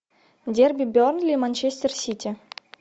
дерби бернли манчестер сити